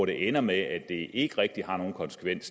det ender med at det stadig ikke rigtig har nogen konsekvens